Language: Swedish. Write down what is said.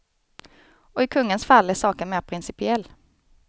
Och i kungens fall är saken mer principiell.